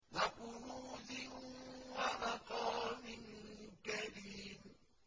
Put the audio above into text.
وَكُنُوزٍ وَمَقَامٍ كَرِيمٍ